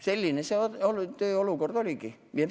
Selline see olukord oligi.